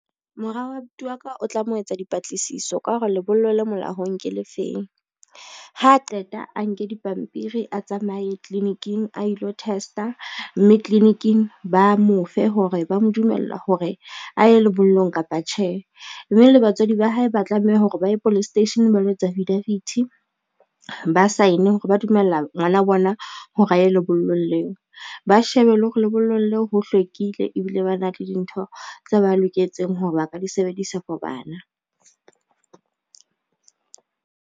Mora wa abuti wa ka o tlamo etsa dipatlisiso ka hore lebollo le molaong ke le feng. Ha a qeta a nke dipampiri a tsamaye tliliniking a ilo test-a, mme tliliniking ba mofe hore ba mo dumella hore a ye lebollong kapa tjhe, mme le batswadi ba hae ba tlameha hore ba ye police station ba lo etsa affidavit, ba sign hore ba dumella ngwana bona hore a ye lebollong leo, ba shebe le hore lebollong leo ho hlwekile ebile ba na le dintho tse ba loketseng hore ba ka di sebedisa for bana.